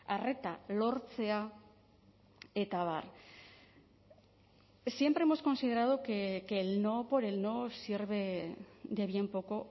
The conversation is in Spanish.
arreta lortzea eta abar siempre hemos considerado que el no por el no sirve de bien poco